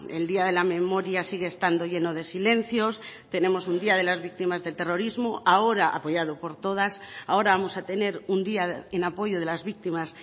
el día de la memoria sigue estando lleno de silencios tenemos un día de las víctimas del terrorismo ahora apoyado por todas ahora vamos a tener un día en apoyo de las víctimas